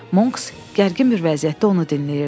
Monks gərgin bir vəziyyətdə onu dinləyirdi.